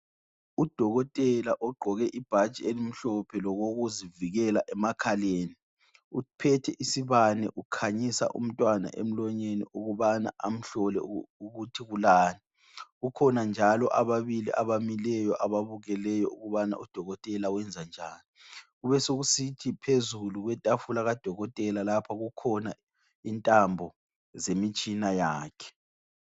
Udokotela ogqoke ibhatshi elimhlophe lokokuzivikela emakhaleni uphethe isibane ukhanyisa umntwana emlonyeni ukubana amhlole ukuthi kulani. Kukhona njalo ababili abamileyo ababukeleyo ukubana udokotela wenzanjani. Kubesokusithi phezulu kwetafula kadokotela lapho kukhona intambo zemitshina yakhe.